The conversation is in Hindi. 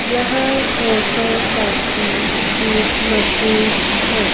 यह फोटो कॉपी की मशीन है।